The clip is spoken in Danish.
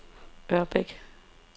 Ørbæk